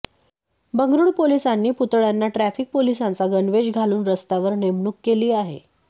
बंगळुरू पोलिसांनी पुतळ्यांना ट्रॅफिक पोलिसांचा गणवेश घालून रस्त्यावर नेमणूक केली आहे